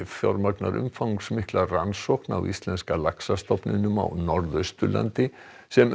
fjármagnar umfangsmikla rannsókn á íslenska laxastofninum á Norðausturlandi sem